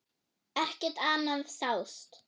Ekkert annað sást.